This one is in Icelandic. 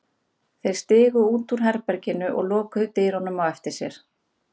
Þeir stigu út úr herberginu og lokuðu dyrunum á eftir sér.